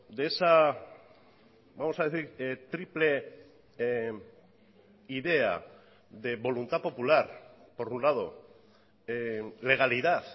de esa vamos a decir triple idea de voluntad popular por un lado legalidad